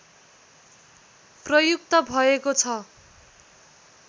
प्रयुक्त भएको छ